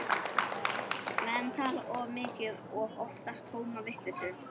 Menn tala of mikið og oftast tóma vitleysu.